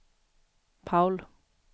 Paul